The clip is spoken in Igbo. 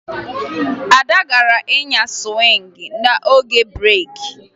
Ada gara nyaa sụwịngị n'oge breeki